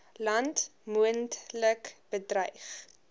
land moontlik bedreig